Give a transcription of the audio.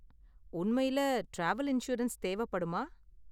உண்மையில travel insurance தேவைப்படுமா?